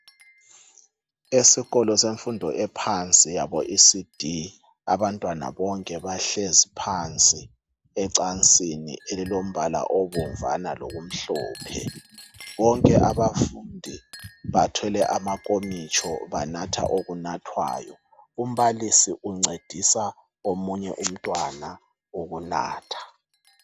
Esikolo semfundo yaphansi oEcd abantwana bonke bahlezi phansi ecansini elilombala obomnvana lomhlophe bonke bathwele amankomitsho , umbalisi uncedisa umntwana ukunatha.